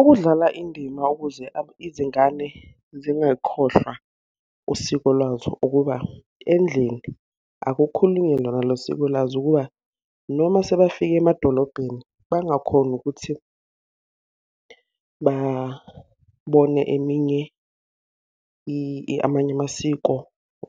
Ukudlala indima ukuze izingane zingakhohlwa usiko lwazo ukuba, endlini akukhulunywe lona lo siko lwazo ukuba noma sebafike emadolobheni bangakhoni ukuthi babone eminye, amanye amasiko